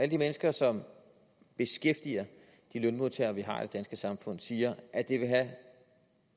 de mennesker som beskæftiger de lønmodtagere vi har i det danske samfund siger at det vil have